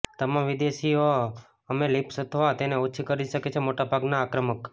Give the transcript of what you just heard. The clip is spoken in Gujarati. તમામ વિદેશીઓ કે અમે લિસ્પ અથવા તેને ઓછી કરી શકે છે મોટા ભાગના આક્રમક